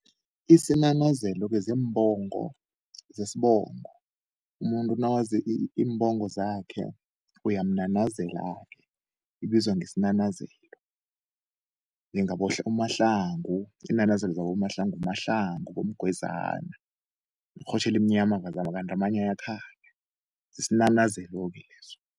Isinanazelo-ke ziimbongo zesbongo umuntu nawazi iimbongo zakhe, uyamnanazela-ke ibizwa ngesinanazelo, njengabo uMahlangu isinanazelo zaboMahlangu. NguMahlangu bomgwezana yirhotjhe elimnyama kanti amanye ayakhanya yisinanazelo-ke leso.